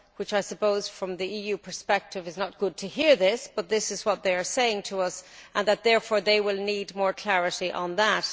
I suppose from the EU perspective it is not good to hear this, but this is what they are saying to us and therefore they will need more clarity on that.